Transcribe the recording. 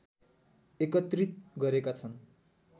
एकत्रित गरेका छन्